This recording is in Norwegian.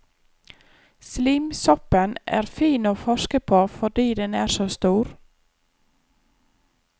Slimsoppen er fin å forske på fordi den er så stor.